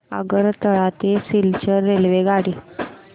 आगरतळा ते सिलचर रेल्वेगाडी